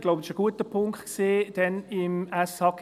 Ich glaube, das war ein guter Punkt damals im SHG.